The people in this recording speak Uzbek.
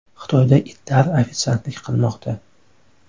Xitoyda itlar ofitsiantlik qilmoqda .